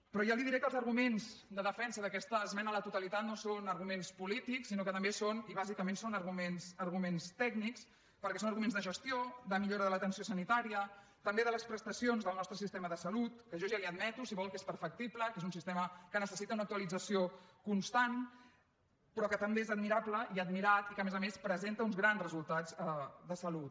però ja li diré que els arguments de defensa d’aquesta esmena a la totalitat no són arguments polítics sinó que també són i bàsicament arguments tècnics perquè són arguments de gestió de millora de l’atenció sanitària també de les prestacions del nostre sistema de salut que jo ja li admeto si ho vol que és perfectible que és un sistema que necessita un actualització constant però que també és admirable i admirat i que a més a més presenta uns grans resultats de salut